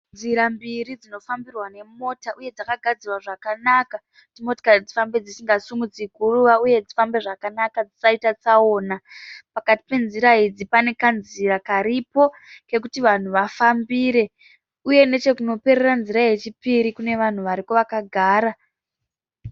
Nzira mbiri dzinofambirwa nemota uye dzakagadzirwa zvakanaka kuti motikari dzifambe dzisingasimudzi guruva uye dzifambe zvakanaka dzisaite tsaona. Pakati penzira idzi pane kanzira karipo kekuti vanhu vafambire uye nechekunoperera nzira yechipiri kune vanhu variko vakagara.